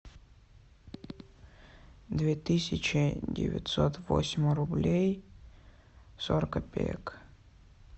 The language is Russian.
две тысячи девятьсот восемь рублей сорок копеек